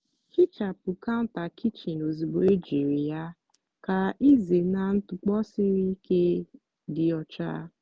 hichapụ counter kichin ozugbo ejiri ya ka ịzena ntụpọ siri ike dị ọcha.